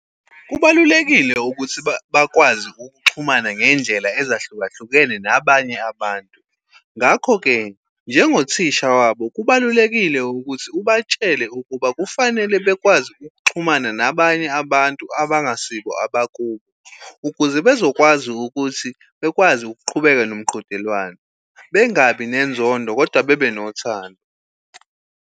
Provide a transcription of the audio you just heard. Kubalulekile ukuthi bakwazi ukuxhumana ngendlela ezahlukahlukene nabanye abantu. Ngakho-ke, njengothisha wabo kubalulekile ukuthi ubatshele ukuba kufanele bekwazi ukuxhumana nabanye abantu abangasibo abakubo, ukuze bezokwazi ukuthi bekwazi ukuqhubeka nomqhudelwano, bengabi nezondo kodwa bebe nothando.